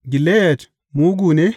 Gileyad mugu ne?